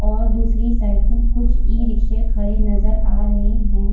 और दूसरी साइड मे कुछ इ-रिक्शे खड़े नजर आ रहे है ।